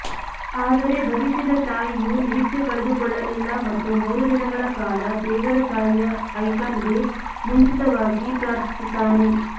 ಆದರೆ ಭವಿಷ್ಯದ ತಾಯಿಯು ನಿರೀಕ್ಷೆ ಕಳೆದುಕೊಳ್ಳಲಿಲ್ಲ ಮತ್ತು ಮೂರು ದಿನಗಳ ಕಾಲ ದೇವರ ತಾಯಿಯ ಐಕಾನ್ಗೆ ಮುಂಚಿತವಾಗಿ ಪ್ರಾರ್ಥಿಸುತ್ತಾನೆ